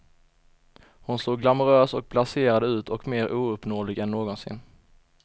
Hon såg glamorös och blaserad ut och mer ouppnåelig än någonsin.